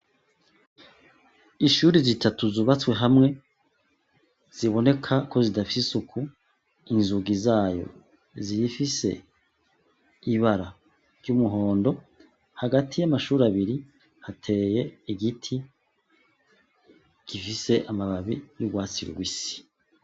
Ishuri zitatu zubatswe hamwe ziboneka ko zidafise isuku inzugi zayo zifise ibara ry'umuhondo hagati y'amashuri abari hateye igiti gifise amababi y'urwatsi rubisi.